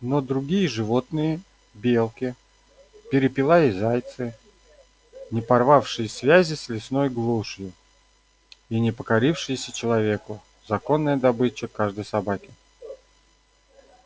но другие животные белки перепела и зайцы не порвавшие связи с лесной глушью и не покорившиеся человеку законная добыча каждой собаки